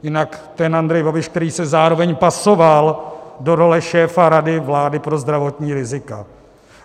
Jinak ten Andrej Babiš, který se zároveň pasoval do role šéfa Rady vlády pro zdravotní rizika.